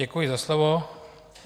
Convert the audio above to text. Děkuji za slovo.